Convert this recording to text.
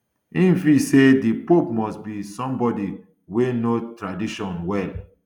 im feel say di pope must be somebody wey know tradition well